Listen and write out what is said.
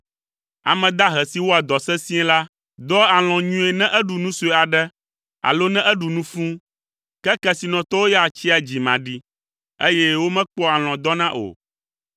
Ame dahe si wɔa dɔ sesĩe la, dɔa alɔ̃ nyuie ne eɖu nu sue aɖe alo ne eɖu nu fũu, ke kesinɔtɔwo ya tsia dzimaɖi eye womekpɔa alɔ̃ dɔna o.